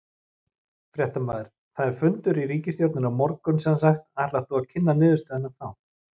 Fréttamaður: Það er fundur í ríkisstjórninni á morgun semsagt, ætlar þú að kynna niðurstöðuna þá?